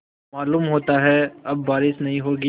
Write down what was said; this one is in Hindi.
मालूम होता है अब बारिश नहीं होगी